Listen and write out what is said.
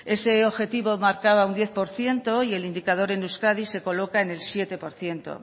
ese objetivo marcaba un diez por ciento y el indicador en euskadi se coloca en el siete por ciento